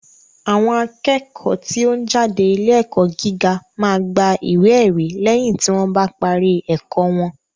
Àwọn akẹ́kọ̀ọ́ tí ó ń jáde ilé ẹ̀kọ́ gíga máa gba ìwé ẹ̀rí lẹ́yìn tí wọ́n bá parí ẹ̀kọ́ wọn